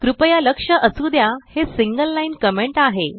कृपया लक्ष असु द्या हे सिंगल लाइन कमेंट आहे